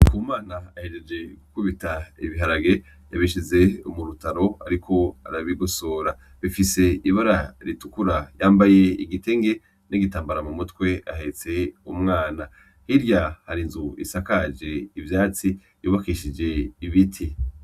NDIKUMANA ahejeje gukubita ibiharage yabishize mu rutaro ariko arabigosora. Bifise ibara ritukura yambaye igitenge n'igitambara mu mutwe ahetse umwana. Hirya hari inzu isakaje ivyatsi yubakishije ibiti.